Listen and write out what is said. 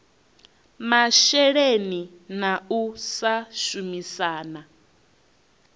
masheleni na u sa shumisana